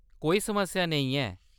कोई समस्या नेईं ऐ।